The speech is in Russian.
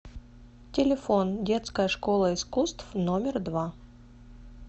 телефон детская школа искусств номер два